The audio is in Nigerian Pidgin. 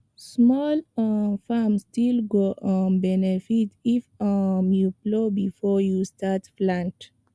small um farm still go um benefit if um you plow before you start plant